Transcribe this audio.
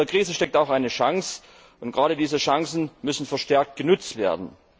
In jeder Krise steckt auch eine Chance, und gerade diese Chancen müssen verstärkt genutzt werden.